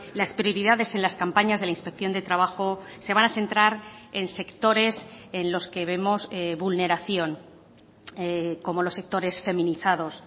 las prioridades en las campañas de la inspección de trabajo se van a centrar en sectores en los que vemos vulneración como los sectores feminizados